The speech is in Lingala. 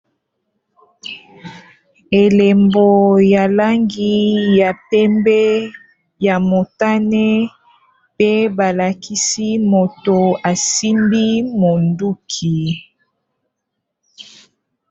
elembo ya langi ya pembe ya motane pe balakisi moto asimbi monduki